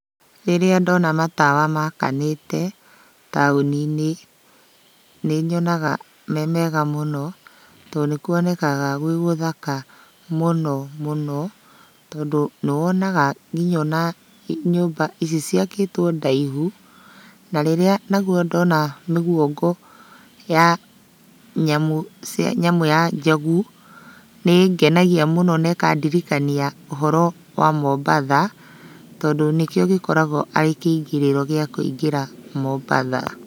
Rĩrĩa ndona matawa makanĩte taũni-inĩ, nĩnyonaga me mega mũno, tondũ nĩkuonekaga gwĩ gũthaka mũno mũno, tondũ nĩwonaga kinya ona nyũmba ici ciakĩtũo ndaihu. Na rĩrĩa naguo ndona mĩguongo ya nyamũ cia nyamũ ya njogu, nĩĩngenagia mũno na ĩkandirikania ũhoro wa Mombatha, tondũ nĩkĩo gĩkoragũo arĩ kĩingĩrĩro gĩa kũingĩra Mombatha,